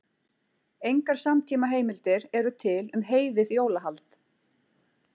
Engar samtímaheimildir eru til um heiðið jólahald.